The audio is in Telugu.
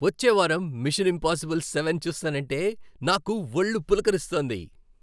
వచ్చే వారం మిషన్ ఇంపాజిబుల్ సెవెన్ చూస్తాన్నంటే నాకు వళ్ళు పులకరిస్తోంది.